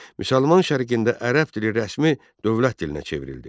Müsəlman Şərqində ərəb dili rəsmi dövlət dilinə çevrildi.